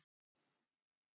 að vera ég.